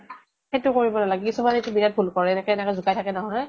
সেইটো কৰিব নালাগে, কিছুমানে এইতো বিৰাত ভুল কৰে। এনেকে এনেকে জোকাই থাকে নহয় ।